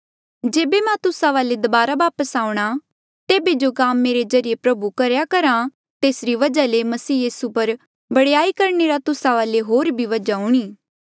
जेबे मां तुस्सा वाले दबारा वापस आऊंणा तेबे जो काम मेरे ज्रीए प्रभु करेया करहा तेसरी वजहा ले मसीह यीसू पर बडयाई करणे रा तुस्सा वाले होर भी वजहा हूंणे